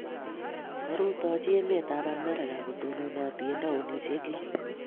Korutochi emet ap Amerika, kotononati eng' taonisyek lo.